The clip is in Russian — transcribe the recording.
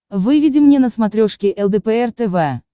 выведи мне на смотрешке лдпр тв